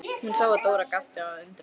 Hún sá að Dóra gapti af undrun.